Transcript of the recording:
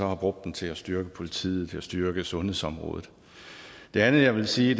har brugt dem til at styrke politiet og til at styrke sundhedsområdet det andet jeg vil sige